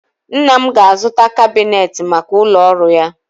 Nna m ga-azụta kabinetị maka ụlọ ọrụ ya